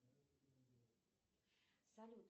салют